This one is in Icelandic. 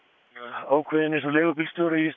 ákveðinn eins og leigubílstjóri í